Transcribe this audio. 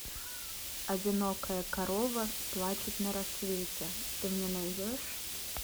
одинокая корова плачет на рассвете ты мне найдешь